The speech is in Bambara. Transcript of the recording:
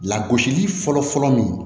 Lagosili fɔlɔfɔlɔ min